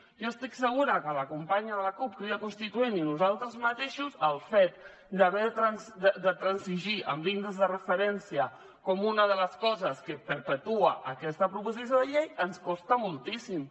jo estic segura que a la companya de la cup crida constituent i a nosaltres mateixos el fet de transigir amb l’índex de referència com una de les coses que perpetua aquesta proposició de llei ens costa moltíssim